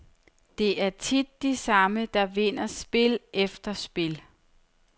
Det er tit de samme, der vinder spil efter spil.